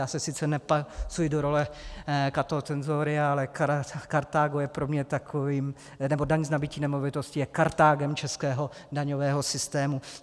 Já se sice nepasuji do role Cato Censoria, ale Kartágo je pro mě takovým - nebo daň z nabytí nemovitosti je Kartágem českého daňového systému.